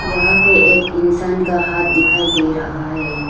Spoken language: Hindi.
यहां पे एक इंसान का हाथ दिखाई दे रहा है।